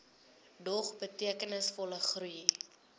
dog betekenisvolle groei